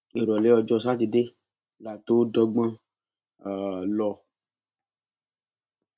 ìrọlẹ ọjọ sátidé la tóó dọgbọn um lọ